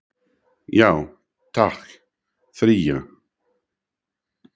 Já takk, þrjá.